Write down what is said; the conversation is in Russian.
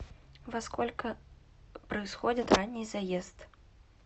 во сколько происходит ранний заезд